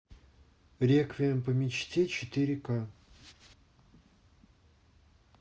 реквием по мечте четыре ка